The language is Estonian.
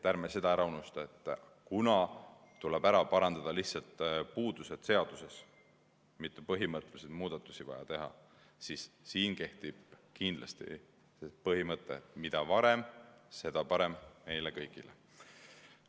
Ärme seda ära unustame, et kuna tuleb lihtsalt ära parandada puudused seaduses, mitte ei ole põhimõttelisi muudatusi vaja teha, siis siin kehtib kindlasti põhimõte: mida varem, seda parem meile kõigile.